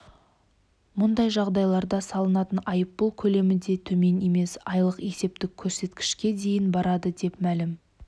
мұндай жағдайларда салынатын айыппұл көлемі де төмен емес айлық есептік көрсеткішке дейін барады деп мәлім